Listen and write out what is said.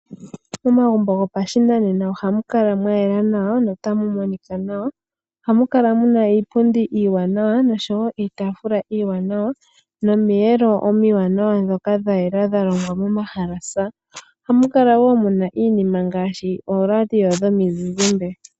Momagumbo gopashinanena oha mu kala mwa yela nawa no ta mu monika nawa. Oha mu kala mu na iipundi iiwanawa nosho wo iitaafula iiwanawa nomiyelo omiwanawa dhoka dha yela dha longwa momahalasa, oha mu kala wo mu na iinima ngaashi ooradio dhomizizimbe.